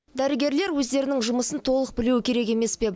дәрігерлер өздерінің жұмысын толық білуі керек емес пе